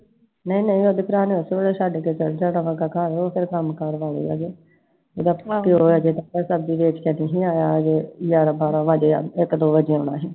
ਨਈ ਨਈ ਓਹਦੇ ਭਰਾ ਨੇ ਉਸੇ ਵੇਲੇ ਛੱਡ ਕੇ ਚੱਲ ਜਾਣਾ ਫਿਰ ਕੰਮ ਕਾਰ ਸਬਜ਼ੀ ਵੇਚ ਕੇ ਨੀ ਸੀ ਆਇਆ ਅਜੇ ਗਿਆਰਾਂ ਬਾਹਰਾਂ ਵਾਜੇ ਇਕ ਦੋ ਵਜੇ ਆਉਣਾ ਸੀl